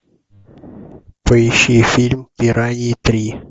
поищи фильм пираньи три